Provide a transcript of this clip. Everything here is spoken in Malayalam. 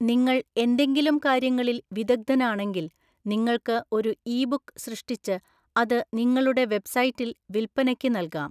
നിങ്ങൾ എന്തെങ്കിലും കാര്യങ്ങളിൽ വിദഗ്ധനാണെങ്കിൽ, നിങ്ങൾക്ക് ഒരു ഇ ബുക്ക് സൃഷ്‌ടിച്ച് അത് നിങ്ങളുടെ വെബ്‌സൈറ്റിൽ വിൽപ്പനയ്‌ക്ക് നൽകാം.